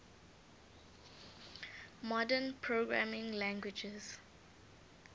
modern programming languages